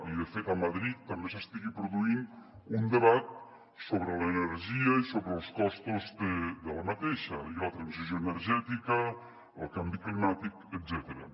i de fet a madrid també s’estigui produint un debat sobre l’energia i sobre els costos d’aquesta i la transició energètica el canvi climàtic etcètera